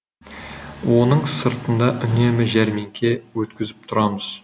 оның сыртында үнемі жәрмеңке өткізіп тұрамыз